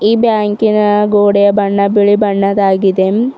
ಬ್ಯಾಂಕಿನ ಗೋಡೆಯ ಬಣ್ಣ ಬಿಳಿ ಬಣ್ಣದಾಗಿದೆ.